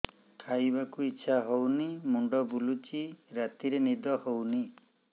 ଖାଇବାକୁ ଇଛା ହଉନି ମୁଣ୍ଡ ବୁଲୁଚି ରାତିରେ ନିଦ ହଉନି